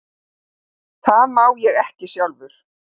Það má ég ekki sjálfur.